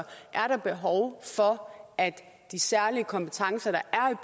er der behov for at de særlige kompetencer der er